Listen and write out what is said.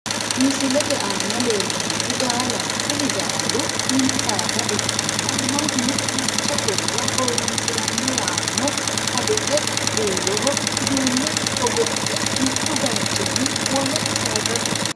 Misilete asna leellannohu gaalaho kuni gaalu mini saada ikkanna mannu duucha horora horoonsiranno yaano adote buuroho uduunne hogophe mittu baaychinni wole saaysate.